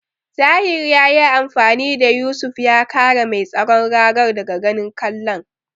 Tahir yayi amfani da Yusuf ya kare mai tsaron ragar daga ganin kwallon.